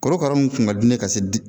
Korokara mun kun ka di ne ye ka se